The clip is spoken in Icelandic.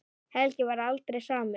Helgi varð aldrei samur.